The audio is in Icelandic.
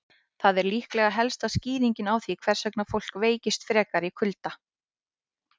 Þetta er líklega helsta skýringin á því hvers vegna fólk veikist frekar í kulda.